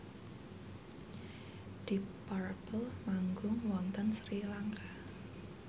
deep purple manggung wonten Sri Lanka